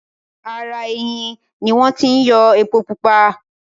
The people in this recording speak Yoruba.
ara “ẹyìn” ni wọ́n ti yọ “epo-pupa”.